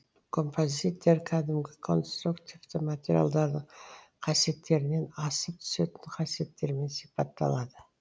композиттер кәдімгі конструктивті материалдардың қасиеттерінен асып түсетін қасиеттерімен сипатталады